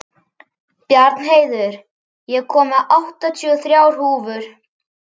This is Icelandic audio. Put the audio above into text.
Bjarnheiður, ég kom með áttatíu og þrjár húfur!